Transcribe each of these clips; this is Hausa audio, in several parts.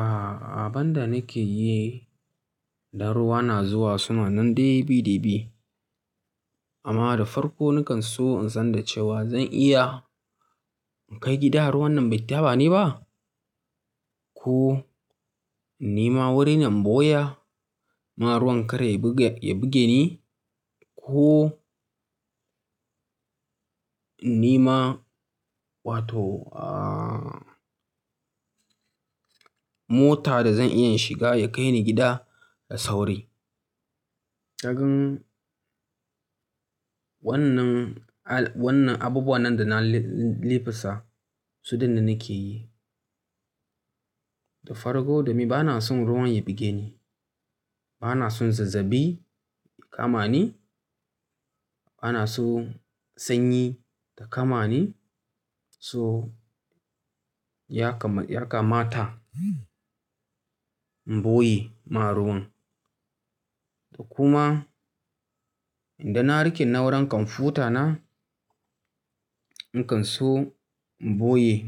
A'a, abin da nake yi idan ruwa na zuwa suna nan dai bi da bi. Amma da farko nakan so in san cewa zan iya in kai gida ruwan nan bai taɓa ni ba? Ko in nima wurinan ɓoya, mara ruwan kar ya buge ni ko in nima wato, ah, mota da zan iya shiga ya kai ni gida da sauri. Kaga wannan, wannan abubuwan nan da na l-l-liffasa su ɗinnan nake yi. Da farko domin bana son ruwan ya buge ni. Bana son zazzaɓi ya kama ni. Bana son sanyi ta kama ni. So ya kamata in ɓoye ma ruwan. Kuma idan na rike na'urar kwamfutana, in kan so in boye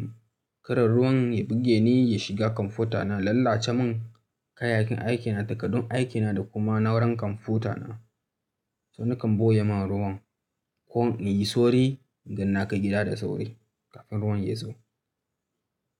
kada ruwan ya buge ni ya shiga kwamfutana, ya lalace mun kayayyakin aikina da takardun aikina da kuma na'urar kwamfutana. To nakan boye ma ruwan ko in yi sauri idan na kai gida da sauri kafin ruwan ya zo.